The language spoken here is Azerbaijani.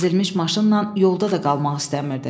Əzilmiş maşınla yolda da qalmaq istəmirdi.